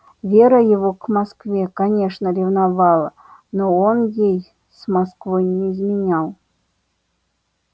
вера его к москве конечно ревновала но он ей с москвой не изменял